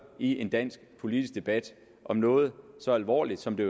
i en dansk politisk debat om noget så alvorligt som det